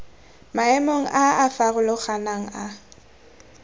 maemong a a farologaneng a